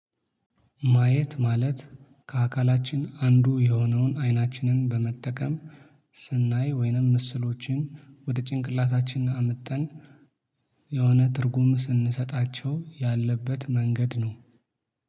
ማየት ማለት ከአካላችን አንዱ የሆነውን አይናችንን በመጠቀም ስናይ ወይንም ምስሎችን ወደ ጭንቅላታችን አምጠን የሆነ ትርጉም ስንሰጣቸው ያለበት መንገድ ነው